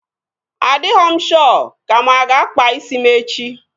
Adighọ m shọ ka mụ aga akpa isi m echi